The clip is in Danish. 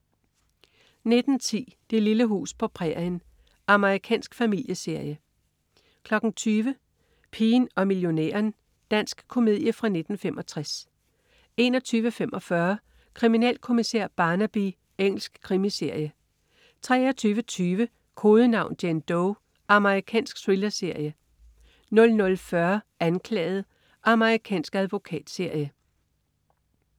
19.10 Det lille hus på prærien. Amerikansk familieserie 20.00 Pigen og millionæren. Dansk komedie fra 1965 21.45 Kriminalkommissær Barnaby. Engelsk krimiserie 23.20 Kodenavn: Jane Doe. Amerikansk thrillerserie 00.40 Anklaget. Amerikansk advokatserie